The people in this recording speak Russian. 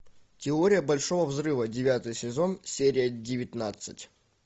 теория большого взрыва девятый сезон серия девятнадцать